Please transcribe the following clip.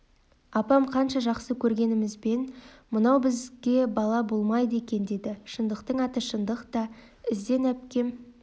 апам қанша жақсы көргенімізбен мынау бізге бала болмайды екен деді шындықтың аты шындық та іздән әпкем